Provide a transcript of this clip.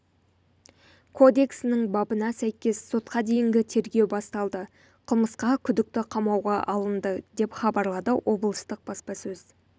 кодексінің бабына сәйкес сотқа дейінгі тергеу басталды қылмысқа күдікті қамауға алынды деп хабарлады облыстық баспасөз